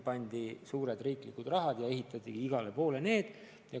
Pandi kokku suured riigi rahad ja ehitati igale poole staadionid.